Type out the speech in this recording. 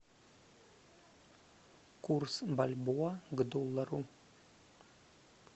курс бальбоа к доллару